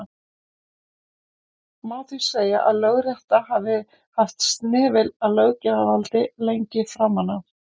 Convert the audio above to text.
má því segja að lögrétta hafi haft snefil af löggjafarvaldi lengi framan af